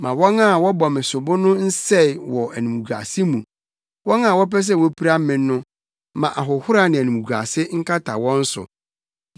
Ma wɔn a wɔbɔ me sobo no nsɛe wɔ animguase mu; wɔn a wɔpɛ sɛ wopira me no ma ahohora ne animguase nkata wɔn so.